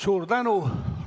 Suur tänu!